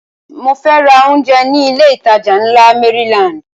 Mo fẹ́ ra oúnjẹ ní ilé ìtajà ńlá Maryland